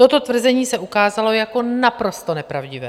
Toto tvrzení se ukázalo jako naprosto nepravdivé.